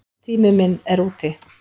Tími minn er úti.